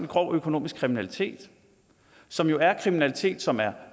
grov økonomisk kriminalitet som jo er kriminalitet som er